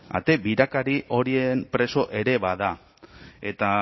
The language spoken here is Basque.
ate birakari horien preso ere bada eta